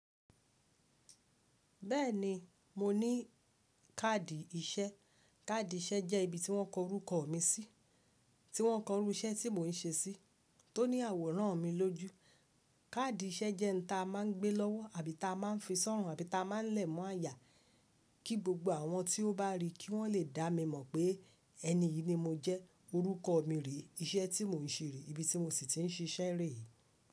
Beeni, mo ni kaadi isé. Káàdì iṣẹ́ jẹ́ ibi tí wọ́n kọ orúkọ mi sí, tí wọ́n kọ irú iṣẹ́ tí mò ń ṣe sí, tó ní àwòrán mi lójú. Káàdì iṣẹ́ jẹ́ ǹ ta máa ń gbé lọ́wọ́ àbí ta máa ń fi sọ̀run àbí ta máa ń lẹ̀ mọ́ àyà kí gbogbo àwọn tí ó bá ri kí wọ́n lè dá mi mọ̀ pé ẹni yìí ni mo jẹ́, orúkọ mi rèé, iṣẹ́ tí mò ń ṣe rèé, ibi tí mo sì ti ń ṣiṣẹ́ rèé.